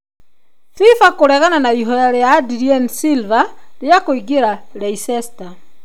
FIFA kũregana na ihoya rĩa Adrien Silva rĩa kũingĩra Leicester.